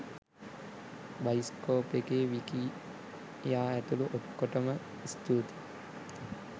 bioscope එකේ විකියා ඇතුළු ඔක්කොටම ස්තුතියි